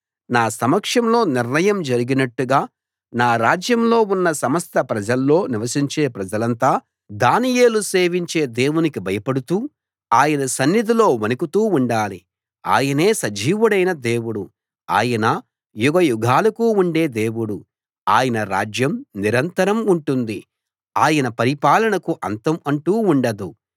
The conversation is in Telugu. నా సమక్షంలో నిర్ణయం జరిగినట్టుగా నా రాజ్యంలో ఉన్న సమస్త ప్రాంతాల్లో నివసించే ప్రజలంతా దానియేలు సేవించే దేవునికి భయపడుతూ ఆయన సన్నిధిలో వణకుతూ ఉండాలి ఆయనే సజీవుడైన దేవుడు ఆయన యుగయుగాలకు ఉండే దేవుడు ఆయన రాజ్యం నిరంతరం ఉంటుంది ఆయన పరిపాలనకు అంతం అంటూ ఉండదు